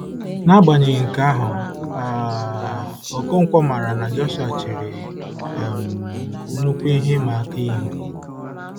N'agbanyeghị nke ahụ, um Okonkwo maara na Joshua chere um nnukwu ihe ịma aka ihu.